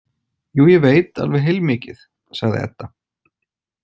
Jú, ég veit alveg heilmikið, sagði Edda.